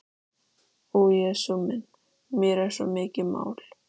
Ó Jesús minn, mér er svo mikið mál.